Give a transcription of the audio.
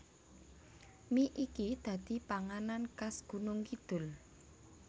Mie iki dadi panganan khas Gunungkidul